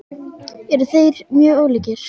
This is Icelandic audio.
Eru þeir mjög ólíkir?